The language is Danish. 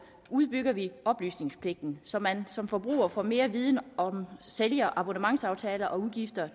udbygger vi oplysningspligten så man som forbruger får mere viden om sælger abonnementsaftaler og udgifter